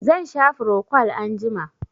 Zan sha frocwal anjima.